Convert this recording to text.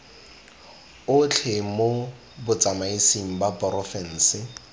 otlhe mo botsamaisng ba porofense